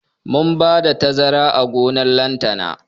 Mun bada tazara a gonan lantana